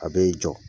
A bɛ jɔ